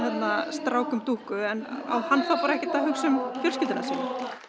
stráknum dúkku á hann þá bara ekkert að hugsa um fjölskylduna sína